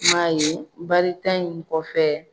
I man ye baarita in kɔfɛ